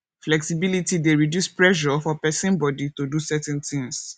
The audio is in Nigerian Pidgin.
flexibility dey reduce pressure for person body to do certain things